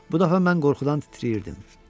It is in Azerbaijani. Bu dəfə mən qorxudan titrəyirdim.